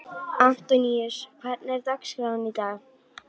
Antoníus, hvernig er dagskráin í dag?